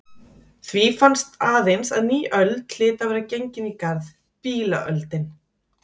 Því fannst aðeins að ný öld hlyti að vera gengin í garð: Bílaöldin.